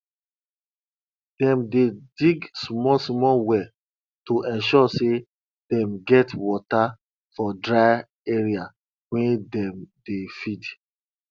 dem dey dig smallsmall well to ensure say dem get water for dry area wey dem dey feed